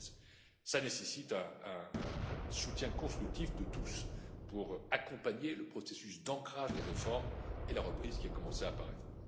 en 2016. Cela nécessite un soutien constructif de tous pour accompagner le processus d'ancrage des réformes et la reprise, qui a commencé à apparaître.